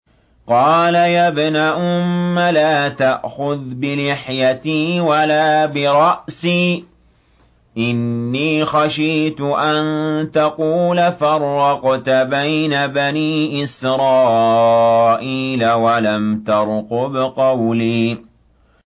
قَالَ يَا ابْنَ أُمَّ لَا تَأْخُذْ بِلِحْيَتِي وَلَا بِرَأْسِي ۖ إِنِّي خَشِيتُ أَن تَقُولَ فَرَّقْتَ بَيْنَ بَنِي إِسْرَائِيلَ وَلَمْ تَرْقُبْ قَوْلِي